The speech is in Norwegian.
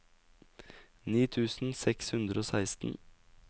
ni tusen seks hundre og seksten